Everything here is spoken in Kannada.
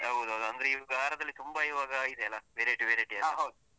ಹೌದೌದು ಅಂದ್ರೆ ಈ ವಾರದಲ್ಲಿ ತುಂಬ ಈವಾಗ ಇದೆ ಅಲ್ಲ variety variety ಎಲ್ಲ.